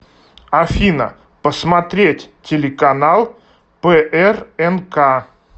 афина посмотреть телеканал прнк